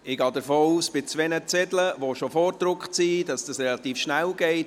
Ich gehe davon aus, dass es bei zwei bereits vorgedruckten Zetteln relativ schnell geht.